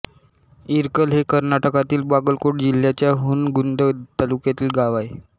इरकल हे कर्नाटकातील बागलकोट जिल्हयाच्या हुनगुंद तालुक्यांतील गांव आहे